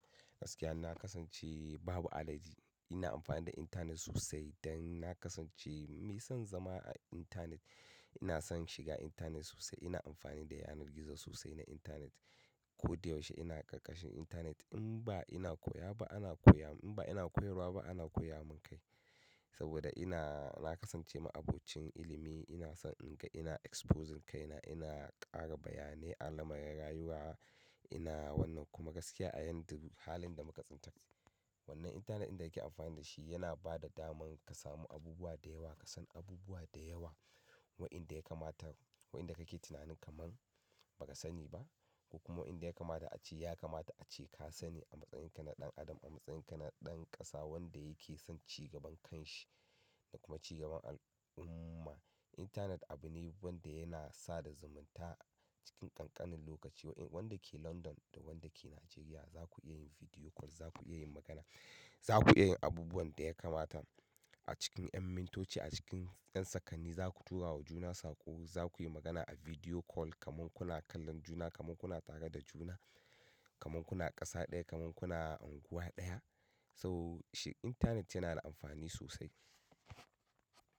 Gaskiya na kasance babu alhaji ina amfani da internet sosai dan na kasance mai son zama a intanet. Ina son shiga intanet sosai, ina amfani da yanar gizo sosai na intanet. Ko da yaushe ina ƙarƙashin intanet in ba ina koya ba ana koya mun, in ba ina koyarwa ba ana koya mun kai. Saboda ina na kasance ma'abocin ilimi ina son in ga ina exposing kaina, ina ƙara bayanai alamar rayuwa ina wannan kuma gaskiya a yanda duk halinda muka tsinci kanmu. Wannan internet inda kake amfani da shi yana bada daman ka samu abubuwa da yawa, ka san abubuwa da yawa. Wa'inda ya kamata, wa'inda ka ke tunanin kaman ba ka sani ba. Kuma inda ya kamata a ce ya kamata a ce ka sani a matsayin ka na ɗan adam, a matsayin ka na ɗan ƙasa wanda yake son cigaban kan shi da kuma cigaban al'umma. Internet abune wanda yana sada zumunta cikin ƙanƙanin lokaci. Wanda ke London da wanda ke Najeriya duka ku zaku iya magana, zaku iyayin abubuwan ɗaya kamata acikin ƴan mintoci a cikin ƴan sakanni zaku turawa juna sako, za kuyi magana a video call kaman kuna kallon juna, kaman kuna tare da juna, kaman kuna ƙasa ɗaya, kaman kuna unguwa ɗaya. So shi internet yana da amfani sosai.